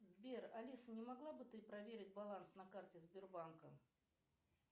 сбер алиса не могла бы ты проверить баланс на карте сбербанка